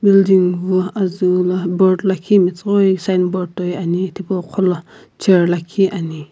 building vu azuu la board lakhi metsughoi signboard toi ani tipau qhola chair lakhi ani.